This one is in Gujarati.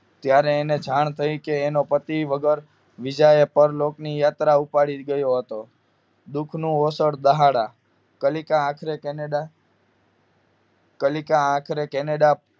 ત્યારે એને જાણ થઈ કે એના પતિ વગર બીજા એ પર લોકની યાત્રા ઉપાડી ગયો હતો દુઃખનો અવસર દાહડા કાલિકા આખરે કેનેડા કાલિકા આખરે કેનેડા